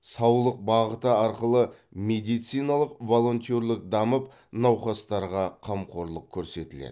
саулық бағыты арқылы медициналық волонтерлік дамып науқастарға қамқорлық көрсетіледі